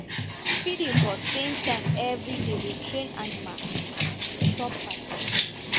feeding for same time every day dey train animal and e dey stop fight